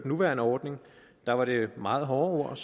nuværende ordning der var det meget hårde ord